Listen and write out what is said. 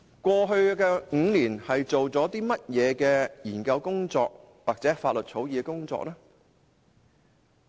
過去5年，究竟做了甚麼研究工作或法律草擬工作？